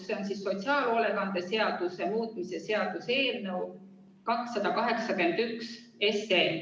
See on sotsiaalhoolekande seaduse muutmise seaduse eelnõu 281.